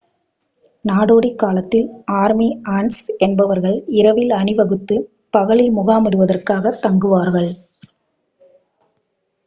நாடோடி காலத்தில் army ants என்பவர்கள் இரவில் அணிவகுத்து பகலில் முகாமிடுவதற்காகத் தங்குவார்கள்